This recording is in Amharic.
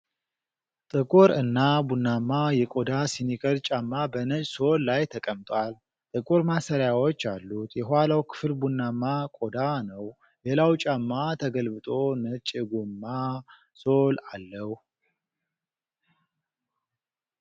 ጥቁር እና ቡናማ የቆዳ ስኒከር ጫማ በነጭ ሶል ላይ ተቀምጧል። ጥቁር ማሰሪያዎች አሉት፤ የኋላው ክፍል ቡናማ ቆዳ ነው። ሌላው ጫማ ተገልብጦ ነጭ የጎማ ሶል አለው።